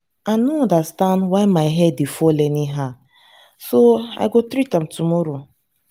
i no understand why my hair dey fall anyhow so i go treat am tomorrow